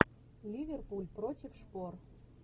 ливерпуль против шпор